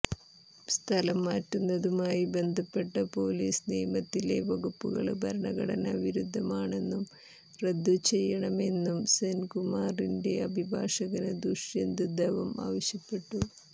സ്ഥലംമാറ്റുന്നതുമായി ബന്ധപ്പെട്ട പൊലീസ് നിയമത്തിലെ വകുപ്പുകള് ഭരണഘടനാ വിരുദ്ധമാണെന്നും റദ്ദുചെയ്യണമെന്നും സെന്കുമാറിന്റെ അഭാഭാഷകന് ദുഷ്യന്ത് ദവം ആവശ്യപ്പെട്ടു